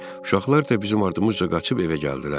Uşaqlar da bizim ardımızca qaçıb evə gəldilər.